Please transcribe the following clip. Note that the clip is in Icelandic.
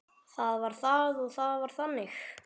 Það var það og það var þannig.